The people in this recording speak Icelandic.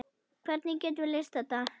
Hvernig getum við leyst þetta?